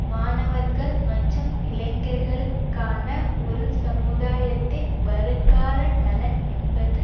மாணவர்கள் மற்றும் இளைஞர்களுக்கான ஒரு சமுதாயத்தின் வருங்கால நலன் என்பது